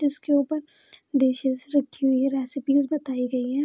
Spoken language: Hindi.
जिसके ऊपर दिशेस रखी हुई हैं रेसिपिस बताई गयी हैं।